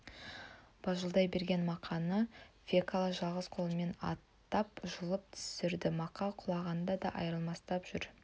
бажылдай берген мақаны фекла жалғыз қолымен аттан жұлып түсірді мақа құлағанда да айрылмастап жүр